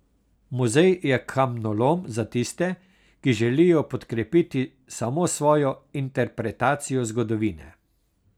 Muzej je kamnolom za tiste, ki želijo podkrepiti samo svojo interpretacijo zgodovine.